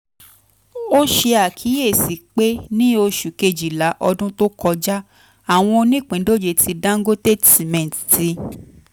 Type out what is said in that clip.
o ṣe akiyesi pe ni oṣu kejila ọdun to kọja awọn onipindoje ti dangote cement ti